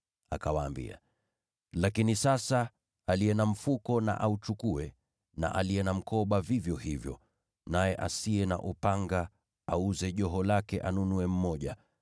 Akawaambia, “Lakini sasa, aliye na mfuko na auchukue, na aliye na mkoba vivyo hivyo. Naye asiye na upanga, auze joho lake anunue mmoja.